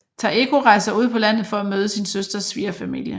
Taeko rejser ud på landet for at møde sin søsters svigerfamilie